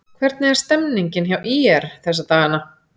Hvernig er stemningin hjá ÍR þessa dagana?